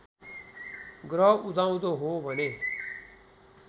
ग्रह उदाउँदो हो भने